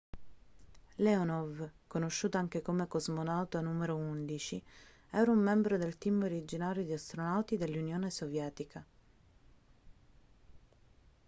leonov conosciuto anche come cosmonauta n 11 era un membro del team originario di astronauti dell'unione sovietica